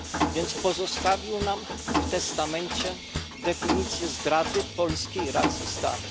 Więc pozostawił nam w testamencie definicję zdrady polskiej racji stanu.